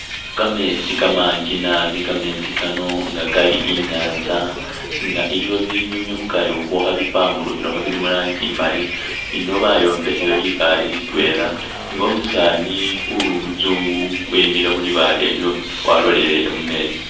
Kameetsi kamangi naabi kameetsi kano inga kali inyatsa inga liwo binyunyu kukari khwo khe pampurukhilakho bili mulangi imali eno bayombekhayo libaale litweela nga umusani uli umutsungu wemikhile khulibaale lyo walolelele mumeetsi.